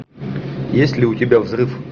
есть ли у тебя взрыв